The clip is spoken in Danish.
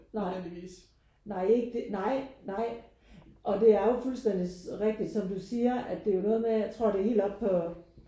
Nej nej ikke nej nej og det er jo fuldstændig rigtig som du siger at det er noget med jeg tror det er helt op på